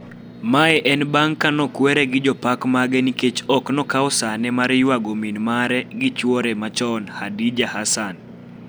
Mae en bang' Kate kwer gi jopak mage nikech ok okao sanee mar yuago mingi gi chuore machon Khadija Hassan